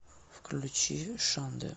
включи шандэ